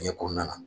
Fiɲɛ kɔnɔna na